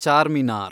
Charminar